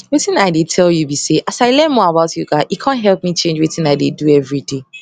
wetin i dey tell you be say as i learn more about yoga e com help me change wetin i dey do every day